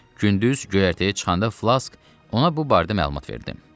Gündüz göyərtiyə çıxanda Flask ona bu barədə məlumat verdi.